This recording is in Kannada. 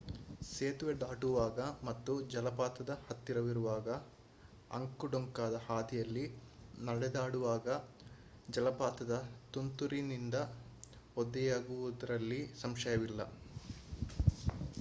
ಸೇತುವೆ ದಾಟುವಾಗ ಮತ್ತು ಜಲಪಾತದ ಹತ್ತಿರವಿರುವ ಅಂಕು ಡೊಂಕಾದ ಹಾದಿಯಲ್ಲಿ ನಡೆದಾಡುವಾಗ ಜಲಪಾತದ ತುಂತುರಿನಿಂದ ಒದ್ದೆಯಾಗುವುದರಲ್ಲಿ ಸಂಶಯವಿಲ್ಲ